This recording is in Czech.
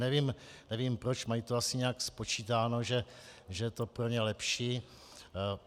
Nevím proč, mají to asi nějak spočítáno, že je to pro ně lepší.